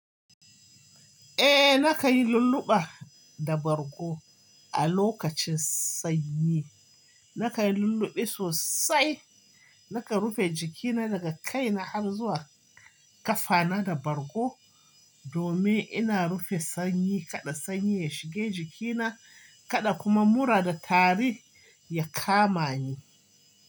Eh na kai lulluɓa da bargo a lokacin sanyi. Na kai lulluɓi sosai, na ka rufe jikina daga kai na har zuwa ƙafa na da bargo domin ina rufe sanyi kaɗa sanyi ya shige jikina kaɗa kuma mura da tari ya kama ni.